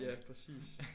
Ja præcis